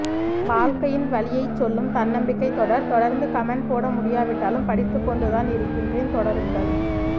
வாழ்க்கையின் வலியை சொல்லும் தன்னம்பிக்கை தொடர் தொடர்ந்து கமண்ட் போட முடியாவிட்டாலும் படித்துக்கொண்டுதான் இருக்கின்றேன் தொடருங்கள்